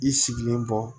I sigilen bɔ